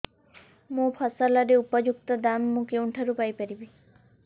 ମୋ ଫସଲର ଉପଯୁକ୍ତ ଦାମ୍ ମୁଁ କେଉଁଠାରୁ ପାଇ ପାରିବି